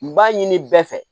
N b'a ɲini bɛɛ fɛ